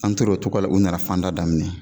An torar o cogo la ,u nana fan da daminɛ.